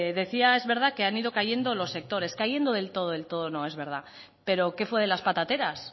decía es verdad que han ido cayendo los sectores cayendo del todo del todo no es verdad pero qué fue de las patateras